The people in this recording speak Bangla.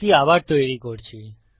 কুকী আবার তৈরী করছি